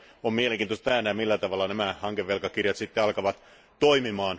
On mielenkiintoista nähdä, millä tavalla nämä hankevelkakirjat sitten alkavat toimia.